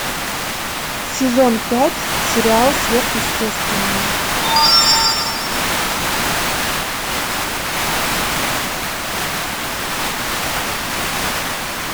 сезон пять сериал сверхъестественное